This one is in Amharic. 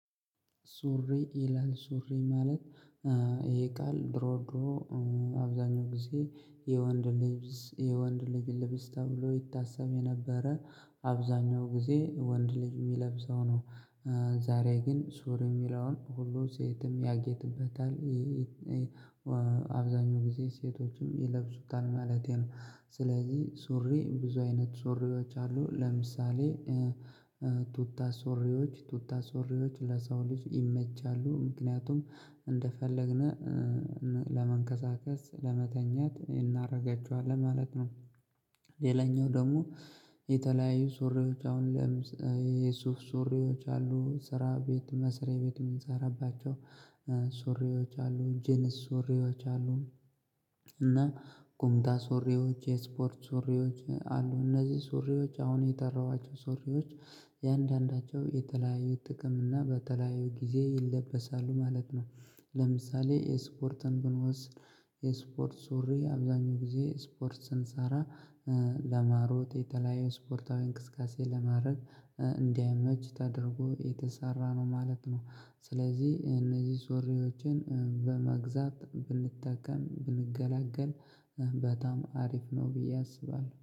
ሱሪ ይላል ሱሪ ማለት ይሄ ቃል ድሮ ድሮ አብዛኛው ጊዜ የወንድ ልብስ የወንድ ልጅ ልብስ ተብሎ ይታሰብ የነበረ አብዛኛው ጊዜ የወንድ ልጅ የሚለብሰው ነው። ዛሬ ግን ሱሪ የሚለውን ሁሉም ሴትም ያጌጥበታል አብዛኛው ጊዜ ሴቶችም ይለብሱታል ማለቴ ነው። ስለዚህ ሱሪ ብዙ አይነት ሱሪዎች አሉ ለምሳሌ ቱታ ሱሪዎች ቱታ ሱሪዎች ለሰው ልጅ ይመቻሉ ምክንያቱም እንደፈለግነው ለመንቀሳቀስ ለመተኛት እናደርጋቸዋለን ማለት ነው። ሌላኛው ደግሞ የተለያዩ ሱሪዎች አሁን ለምሳሌ ዩሱፍ ሱሪዎች አሉ ስራ ቤት መስሪያ ቤት የምንሰራባቸው ሱሪዎች አሉ ጂንስ ሱሪዎች አሉ። እና ቁምጣ ሱሪዎች የስፖርት ሱሪዎች አሉ እነዚህ ሱሪዎች አሁን የጠራኋቸው ሱሪዎች የአንዳንዳቸው የተለያዩ ጥቅም እና በተለያዩ ጊዜ ይለበሳሉ ማለት ነው። ለምሳሌ የስፖርትን ብንወስድ የስፖርት ሱሪ አብዛኛው ጊዜ ስፖርት ስንሰራ ለመሮጥ የተለያየ ስፖርታዊ እንቅስቃሴ ለማድረግ እንዲያመች ተደርጎ የተሰራ ነው ማለት ነው። ስለዚህ እነዚህ ሱሪዎችን በመግዛት ብንጠቀም ብንገለገል በጣም አሪፍ ነው ብዬ አስባለሁ